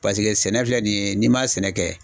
Paseke sɛnɛ filɛ nin ye n'i ma sɛnɛ kɛ